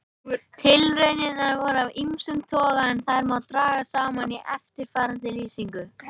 Tilraunirnar voru af ýmsum toga en þær má draga saman í eftirfarandi lýsingu.